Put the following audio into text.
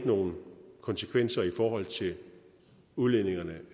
nogle konsekvenser i forhold til udledningerne